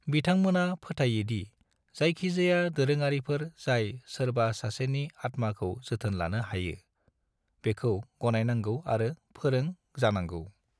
बिथांमोना फोथाइयो दि जायखि जाया दोरोङारिफोर जाय सोरबा सासेनि आत्माखौ जोथोन लानो हायो, बेखौ गनायनांगौ आरो फोरों जानांगौ।